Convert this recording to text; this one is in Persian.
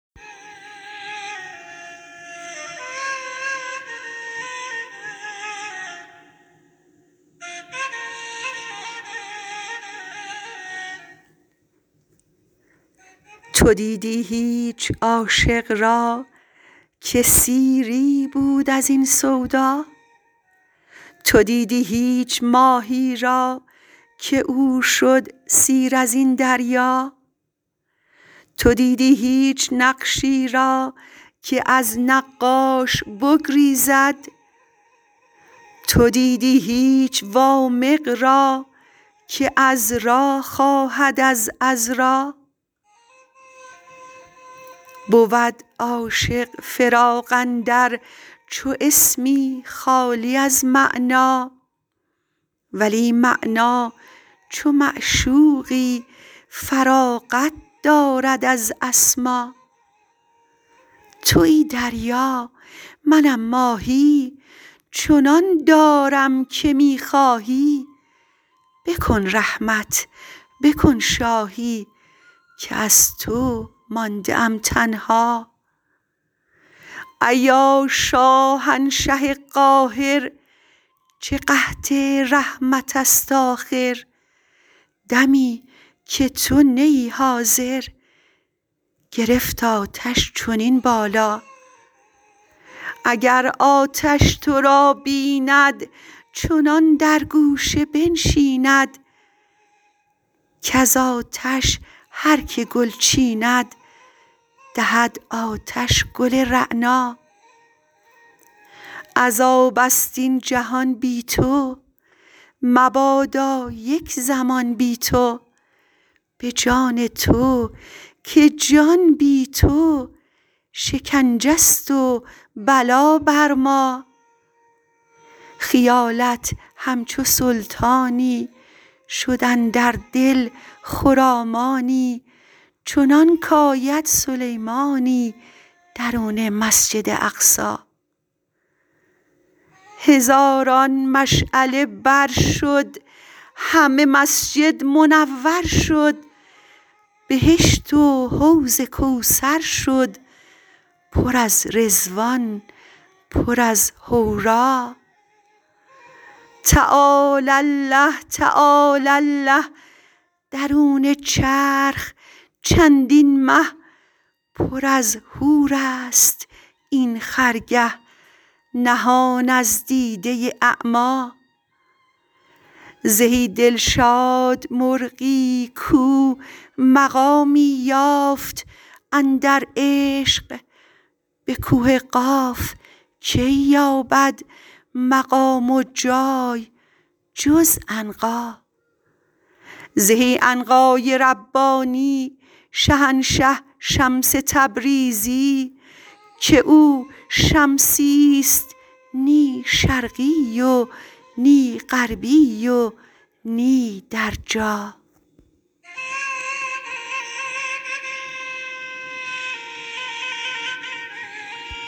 تو دیدی هیچ عاشق را که سیری بود از این سودا تو دیدی هیچ ماهی را که او شد سیر از این دریا تو دیدی هیچ نقشی را که از نقاش بگریزد تو دیدی هیچ وامق را که عذرا خواهد از عذرا بود عاشق فراق اندر چو اسمی خالی از معنی ولی معنی چو معشوقی فراغت دارد از اسما توی دریا منم ماهی چنان دارم که می خواهی بکن رحمت بکن شاهی که از تو مانده ام تنها ایا شاهنشه قاهر چه قحط رحمت ست آخر دمی که تو نه ای حاضر گرفت آتش چنین بالا اگر آتش تو را بیند چنان در گوشه بنشیند کز آتش هر که گل چیند دهد آتش گل رعنا عذاب ست این جهان بی تو مبادا یک زمان بی تو به جان تو که جان بی تو شکنجه ست و بلا بر ما خیالت همچو سلطانی شد اندر دل خرامانی چنانک آید سلیمانی درون مسجد اقصی هزاران مشعله بر شد همه مسجد منور شد بهشت و حوض کوثر شد پر از رضوان پر از حورا تعالی الله تعالی الله درون چرخ چندین مه پر از حورست این خرگه نهان از دیده اعما زهی دلشاد مرغی کو مقامی یافت اندر عشق به کوه قاف کی یابد مقام و جای جز عنقا زهی عنقای ربانی شهنشه شمس تبریزی که او شمسی ست نی شرقی و نی غربی و نی در جا